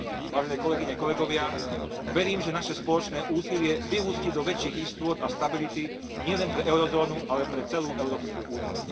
Vážené kolegyne, kolegovia, verím, že naše spoločné úsilie vyústi do väčších istôt a stability nielen pre eurozónu, ale pre celú Európsku úniu.